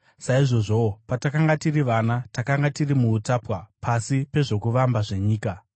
Saizvozvowo, patakanga tiri vana, takanga tiri muutapwa pasi pezvokuvamba zvenyika.